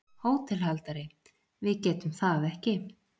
HÓTELHALDARI: Við getum það ekki.